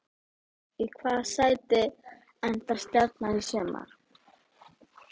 Í hvaða sæti endar Stjarnan í sumar?